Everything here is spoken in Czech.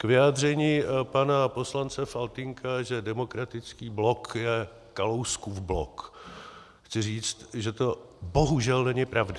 K vyjádření pana poslance Faltýnka, že Demokratický blok je Kalouskův blok chci říct, že to bohužel není pravda.